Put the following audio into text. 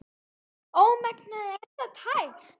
Ómengað er það tært.